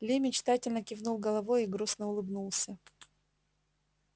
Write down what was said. ли мечтательно кивнул головой и грустно улыбнулся